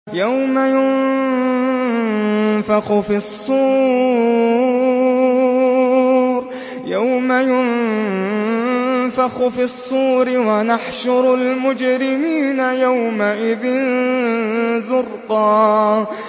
يَوْمَ يُنفَخُ فِي الصُّورِ ۚ وَنَحْشُرُ الْمُجْرِمِينَ يَوْمَئِذٍ زُرْقًا